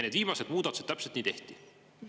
Need viimased muudatused täpselt nii tehti.